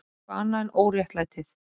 Eitthvað annað en óréttlætið.